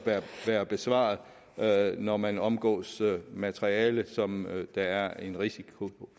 være besvaret når man omgås materiale som der er en risiko